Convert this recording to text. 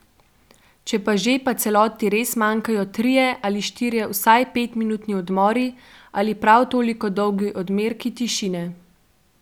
Če pa že, pa celoti res manjkajo trije ali štirje vsaj petminutni odmori ali prav toliko dolgi odmerki tišine.